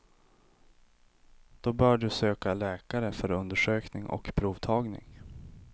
Då bör du söka läkare för undersökning och provtagning.